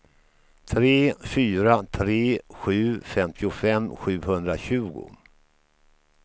tre fyra tre sju femtiofem sjuhundratjugo